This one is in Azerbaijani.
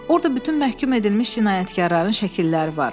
Orda bütün məhkum edilmiş cinayətkarların şəkilləri var.